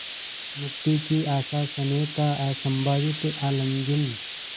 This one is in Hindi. मुक्ति की आशास्नेह का असंभावित आलिंगन